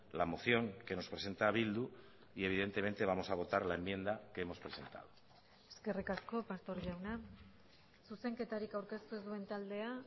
la moción que nos presenta bildu y evidentemente vamos a votar la enmienda que hemos presentado eskerrik asko pastor jauna zuzenketarik aurkeztu ez duen taldea